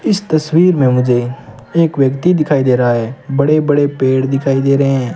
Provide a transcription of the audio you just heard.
इस तस्वीर में मुझे एक व्यक्ति दिखाई दे रहा है बड़े बड़े पेड़ दिखाई दे रहे--